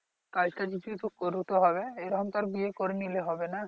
কাজ কাম কিছু তো করতে হবে এরকম তো আর বিয়ে করে নিলে হবে না